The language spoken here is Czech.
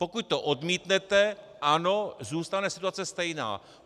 Pokud to odmítnete, ano, zůstane situace stejná.